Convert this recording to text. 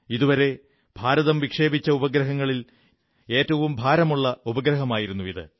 ഇതുവരെ ഭാരതം വിക്ഷേപിച്ച ഉപഗ്രഹങ്ങളിൽ ഏറ്റവും ഭാരമുള്ള ഉപഗ്രഹമായിരുന്നു ഇത്